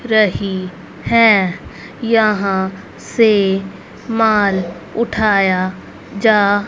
रही हैं यहां से माल उठाया जा--